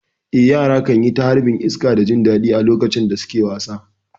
Eh, yara kan yi ta harbin iska da jin daɗi a lokacin da suke wasa.